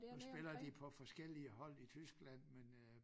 Nu spiller de på forskellige hold i Tyskland men øh